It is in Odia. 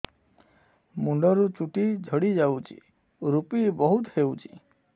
ମୁଣ୍ଡରୁ ଚୁଟି ଝଡି ଯାଉଛି ଋପି ବହୁତ ହେଉଛି